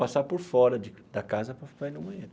Passar por fora de da casa para para ir no banheiro.